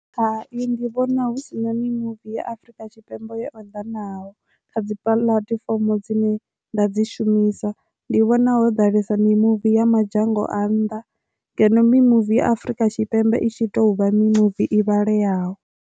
Hai, ndi vhona hu sina mimuvi ya Afrika Tshipembe ya o ḓa naho kha dzi puḽatifomo dzine nda dzi shumisa ndi vhona ho ḓalesa mimuvi ya madzhango a nnḓa ngeno mimuvi ya Afurika Tshipembe itshi ita huvha mi movie i vhaleyaho.